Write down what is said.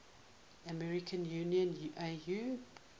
african union au